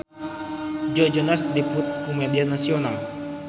Joe Jonas diliput ku media nasional